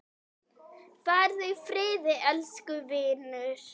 Farðu í friði, elsku vinur.